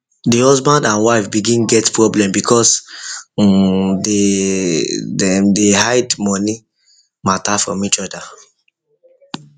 the husband and wife begin get problem because um dey dem hide money matter from each other